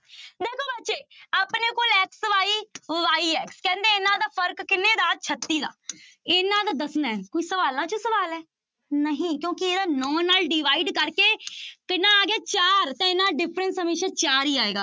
ਦੇਖੋ ਬੱਚੇ ਆਪਣੇ ਕੋਲ x, y y ਹੈ ਕਹਿੰਦੇ ਇਹਨਾਂ ਦਾ ਫ਼ਰਕ ਕਿੰਨੇ ਦਾ ਛੱਤੀ ਦਾ ਇਹਨਾਂ ਦਾ ਦੱਸਣਾ ਹੈ, ਕੋਈ ਸਵਾਲਾਂ ਚੋਂ ਸਵਾਲ ਹੈ, ਨਹੀਂ ਕਿਉਂਕਿ ਇਹਦਾ ਨੋਂ ਨਾਲ divide ਕਰਕੇ ਕਿੰਨਾ ਆ ਗਿਆ ਚਾਰ, ਤਾਂ ਇਹਨਾ ਦਾ difference ਹਮੇਸ਼ਾ ਚਾਰ ਹੀ ਆਏਗਾ।